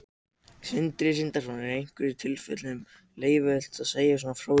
Sindri Sindrason: Er í einhverjum tilfellum leyfilegt að segja frá svona upplýsingum?